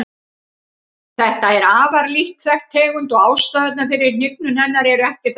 Þetta er afar lítt þekkt tegund og ástæðurnar fyrir hnignun hennar eru ekki þekktar.